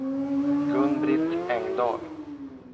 Gun-Britt Engdahl